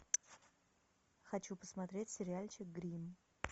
хочу посмотреть сериальчик гримм